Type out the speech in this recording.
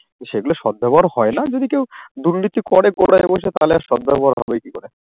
সেগুলো সদ্ব্যবহার হয় না যদি কেউ দুর্নীতি করে কোনায় বসে তাহলে আর সদ্ব্যবহার হবে কি করে?